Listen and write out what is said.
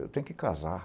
Eu tenho que casar.